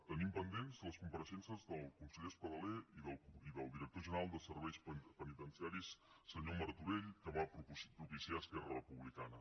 tenim pendents les compareixences del conseller espadaler i del director general de serveis penitenciaris senyor martorell que va propiciar esquerra republicana